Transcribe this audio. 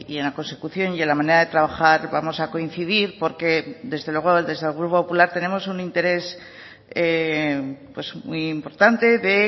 en la consecución y en la manera de trabajar vamos a coincidir porque desde luego desde el grupo popular tenemos un interés muy importante de